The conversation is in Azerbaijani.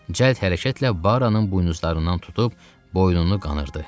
Cəld hərəkətlə Baranın buynuzlarından tutub boynunu qanırdı.